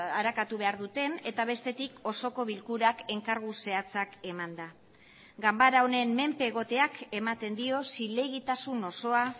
arakatu behar duten eta bestetik osoko bilkurak enkargu zehatzak emanda ganbara honen menpe egoteak ematen dio zilegitasun osoa